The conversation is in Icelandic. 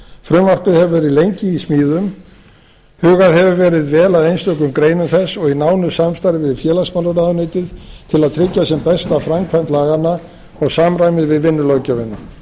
frumvarpið hefur verið lengi í smíðum hugað hefur verið vel að einstökum greinum þess og í nánu samstarfi við félagsmálaráðuneytið til að tryggja sem besta framkvæmd laganna og samræmi við vinnulöggjöfina